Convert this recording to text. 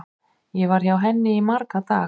Ég var hjá henni í marga daga.